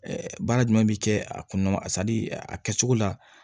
baara jumɛn bɛ kɛ a kɔnɔ a kɛcogo la